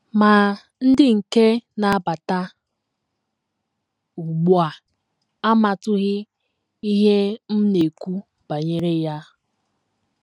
Ma, ndị nke na - abata ugbu a amatụghị ihe m na - ekwu banyere ya. ”